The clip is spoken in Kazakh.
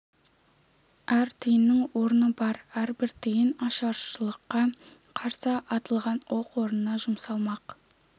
әр тиынның орны бар әрбір тиын ашаршылыққа қарсы атылған оқ орнына жұмсалмақ